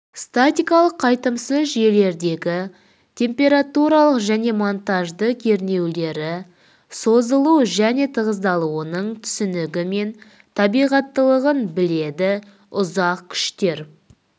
статикалық қайтымсыз жүйелердегі температуралық және монтажды кернеулері созылу және тығыздалуының түсінігі мен табиғаттылығын біледі ұзақ күштер